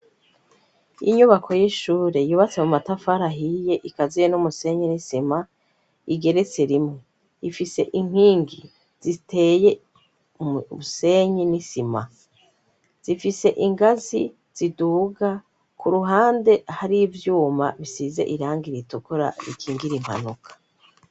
Inyubako y'ishure yubatse mu matafari ahiye, ikaziye n'umusenyi n'isima igeretse rimwe ifise inkingi ziteye mu musenyi n'isima zifise ingazi ziduga ku ruhande hari ibyuma bisize irangi iritukura bikingira impanuka.